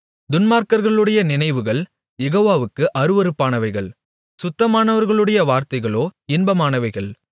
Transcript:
துன்மார்க்கர்களுடைய நினைவுகள் யெகோவாவுக்கு அருவருப்பானவைகள் சுத்தமானவர்களுடைய வார்த்தைகளோ இன்பமானவைகள்